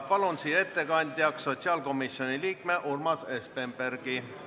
Palun ettekandeks siia sotsiaalkomisjoni liikme Urmas Espenbergi.